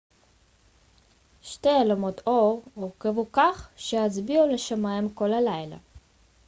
שתי אלומות אור הורכבו כך שיצביעו לשמיים כל הלילה